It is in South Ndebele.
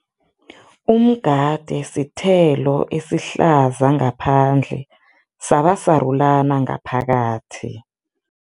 Umgade sithelo esihlaza ngaphandle, saba sarulana ngaphakathi.